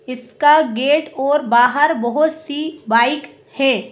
इसका गेट और बाहर बहुत सी बाइक है।